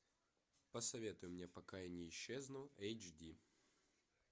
посоветуй мне пока я не исчезну эйч ди